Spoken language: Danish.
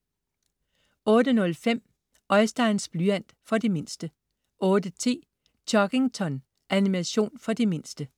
08.05 Oisteins blyant. For de mindste 08.10 Chuggington. Animation for de mindste